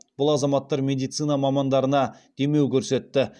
бұл азаматтар медицина мамандарына демеу көрсетті